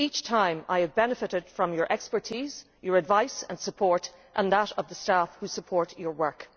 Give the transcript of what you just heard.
Each time I have benefited from your expertise, your advice and support, and from that of the staff who support your work.